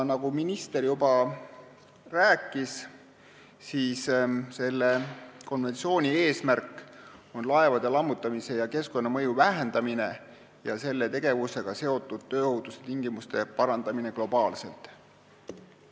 Nagu minister juba rääkis, on selle konventsiooni eesmärk laevade lammutamise keskkonnamõju vähendamine ja selle tegevusega seotud tööohutuse tingimuste parandamine globaalselt.